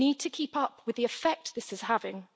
We need to keep up with the effect this is having.